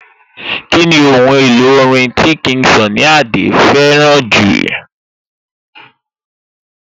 Kíni ohun èlò orin tí King Sunny Adé fẹ́ràn jù?